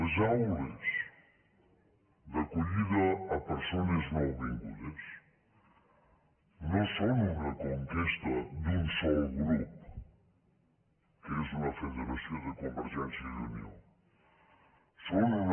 les aules d’acollida a persones nouvingudes no són una conquesta d’un sol grup que és una federació de convergència i unió són una